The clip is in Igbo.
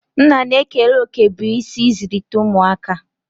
Nna na-ekere òkè bụ́ isi n'ịzụlite ụmụaka